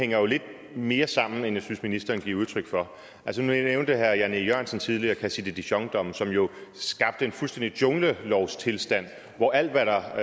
hænger jo lidt mere sammen end jeg synes ministeren giver udtryk for nu nævnte herre jan e jørgensen tidligere cassis de dijon dommen som jo skabte en fuldstændig junglelovstilstand hvor alt hvad der